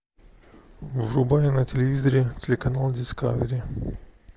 врубай на телевизоре телеканал дискавери